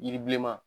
Yiri bilenma